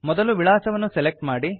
ಮೊದಲು ವಿಳಾಸವನ್ನು ಸೆಲೆಕ್ಟ್ ಮಾಡಿ